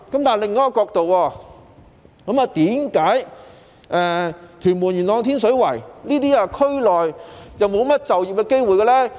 從另一個角度來看，為何屯門、元朗及天水圍區內沒甚麼就業機會呢？